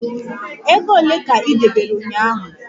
Ego ole ka ị debere ụnyaahụ?